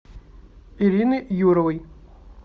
ирины юровой